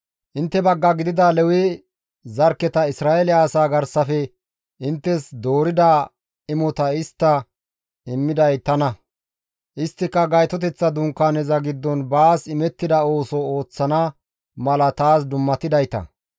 Intte bagga gidida Lewe zarkketa Isra7eele asaa garsafe inttes doorida imota histta immiday tana; isttika Gaytoteththa Dunkaaneza giddon baas imettida ooso ooththana mala taas dummatidayta.